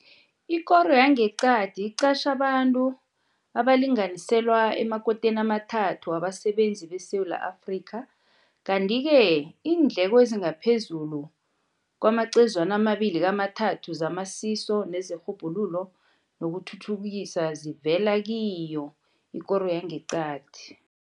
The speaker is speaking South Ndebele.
Ikoro yangeqadi iqatjhe abantu abalinganiselwa emakoteni amathathu wabasebenzi beSewula Afrika, kanti-ke iindleko ezingaphezulu kwamacezwana amabili kamathathu zamasiso nezerhubhululo nokuthuthukisa zivela kiyo ikoro yangeqadi.